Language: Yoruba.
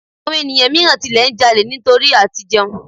Àwọn ènìyàn míràn tilẹ̀ n ja'lè nítorí à ti jẹun